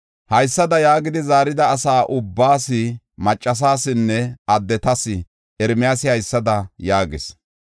Haysada yaagidi zaarida asa ubbaas, maccasasinne addetas, Ermiyaasi haysada yaagis;